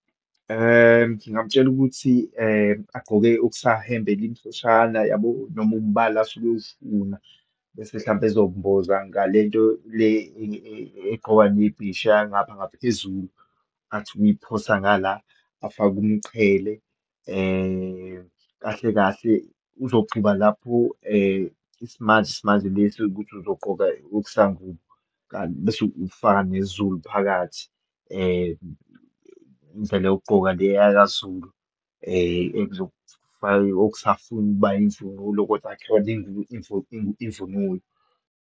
Ngingamtshela ukuthi agqoke ukusahembe elimhloshana yabo, noma umbala asuke ewufuna, bese hlampe ezomboza ngalento le egqokwa nebhisha yangapha ngaphezulu, athi ukuyiphosa ngala, afake umqhele. Kahle kahle uzoqhuba lapho isimanje simanje lesi ukuthi uzogqoka okusangubo, bese ukufaka nesiZulu phakathi indlela yokugqoka le yakaZulu, okusafuna ukuba imvunulo, kodwa akuyona imvunulo.